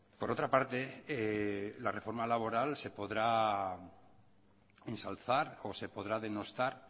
por otra parte la reforma laboral se podrá ensalzar o se podrá denostar